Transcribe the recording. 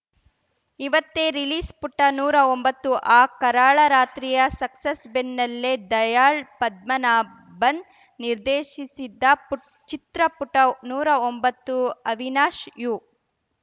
ಇವತ್ತೇ ರಿಲೀಸ್‌ ಪುಟ ನೂರಾ ಒಂಬತ್ತು ಆ ಕರಾಳ ರಾತ್ರಿಯ ಸಕ್ಸಸ್‌ ಬೆನ್ನಲ್ಲೇ ದಯಾಳ್‌ ಪದ್ಮನಾಭನ್‌ ನಿರ್ದೇಶಿಸಿದ ಪು ಚಿತ್ರ ಪುಟ ನೂರಾ ಒಂಬತ್ತು ಅವಿನಾಶ್‌ ಯು